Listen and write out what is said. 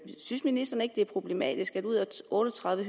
synes ministeren ikke det er problematisk at ud af otte og tredive